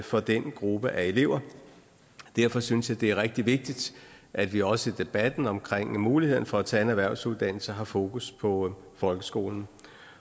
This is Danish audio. for den gruppe af elever derfor synes jeg det er rigtig vigtigt at vi også i debatten omkring muligheden for at tage en erhvervsuddannelse har fokus på folkeskolen